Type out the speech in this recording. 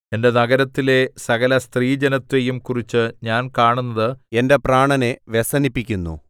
എന്റെ നഗരത്തിലെ സകലസ്ത്രീജനത്തെയും കുറിച്ച് ഞാൻ കാണുന്നത് എന്റെ പ്രാണനെ വ്യസനിപ്പിക്കുന്നു